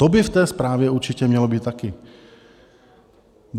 To by v té zprávě určitě mělo být také.